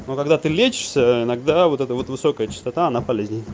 но когда ты лечишься иногда вот это вот высокая частота она полезней